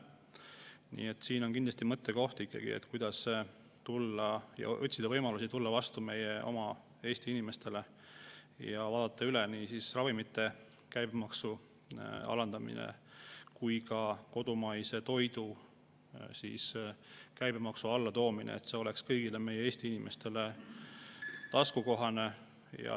Nii et siin on kindlasti mõttekoht, kuidas leida võimalusi tulla vastu meie oma Eesti inimestele ja nii ravimite käibemaksu kui ka kodumaise toidu käibemaksu alandamine, et see oleks kõigile Eesti inimestele taskukohane.